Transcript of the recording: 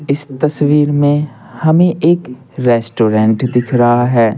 इस तस्वीर में हमें एक रेस्टोरेंट दिख रहा है।